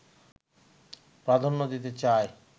প্রাধান্য দিতে চাই